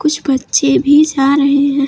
कुछ बच्चे भी जा रहे है।